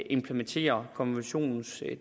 implementerer konventionens